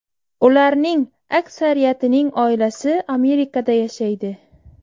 Ularning aksariyatining oilasi Amerikada yashaydi.